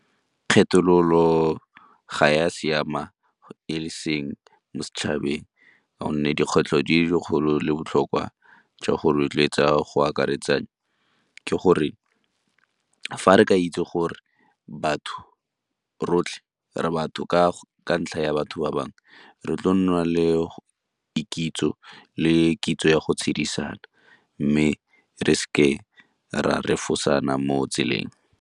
Kgethololo ga e a siama e seng mo setšhabeng gonne dikgwetlho di dikgolo le botlhokwa jwa go rotloetsa go akaretsa ke gore fa re ka itse gore batho rotlhe re batho ka ntlha ya batho ba bangwe, re tlo nna le dikitso le kitso ya go tshedisana mme re seke ra refosana mo tseleng.